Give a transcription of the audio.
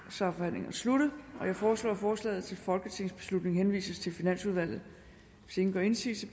så er forhandlingen sluttet jeg foreslår at forslaget til folketingsbeslutning henvises til finansudvalget hvis ingen gør indsigelse